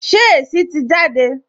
Ṣé èsì tì jáde?